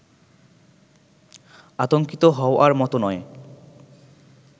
আতংকিত হওয়ার মত নয়